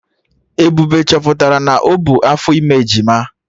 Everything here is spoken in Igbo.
Ebube chọpụtara na o bu afọ ime ejima